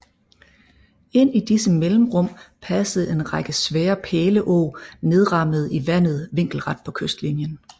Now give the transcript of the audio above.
Ind i disse mellemrum passede en række svære pæleåg nedrammede i vandet vinkelret på kystlinien